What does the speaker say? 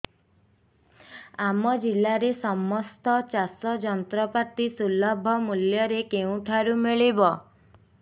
ଆମ ଜିଲ୍ଲାରେ ସମସ୍ତ ଚାଷ ଯନ୍ତ୍ରପାତି ସୁଲଭ ମୁଲ୍ଯରେ କେଉଁଠାରୁ ମିଳିବ